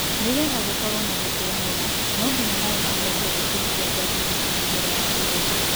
nĩgetha gũkorwo na gũkranira nonginyadia mai maniario thikũ mũgwanja nginya ikũmi mbele wa kũgetha